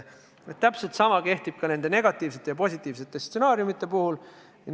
Täpselt sama võib öelda negatiivsete ja positiivsete stsenaariumite kohta.